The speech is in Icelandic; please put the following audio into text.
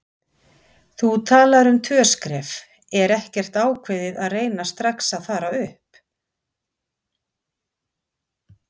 Þú talar um tvö skref, er ekkert ákveðið að reyna strax að fara upp?